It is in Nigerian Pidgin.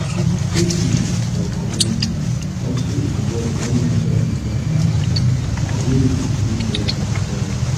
safely for community also involve when natural disaster happen community fit join hand help